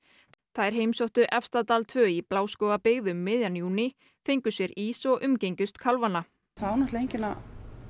þær heimsóttu Efstadal tvö í Bláskógabyggð um miðjan júní fengu sér ís og umgengust kálfana það á enginn að